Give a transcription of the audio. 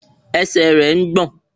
Ẹsẹ̀ rẹ̀ ń gbọ̀n